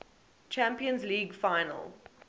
champions league final